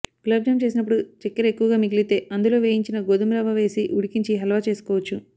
గులాబ్ జామ్ చేసినప్పుడు చక్కెర ఎక్కువగా మిగిలితే అందులో వేయించిన గోధుమరవ్వ వేసి ఉడికించి హల్వా చేసుకోవచ్చు